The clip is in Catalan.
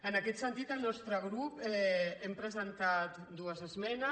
en aquest sentit el nostre grup hem presentat dues esmenes